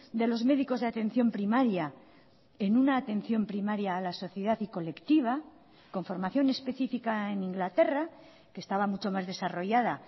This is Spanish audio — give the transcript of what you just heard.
de los médicos de atención primaria en una atención primaria a la sociedad y colectiva con formación específica en inglaterra que estaba mucho más desarrollada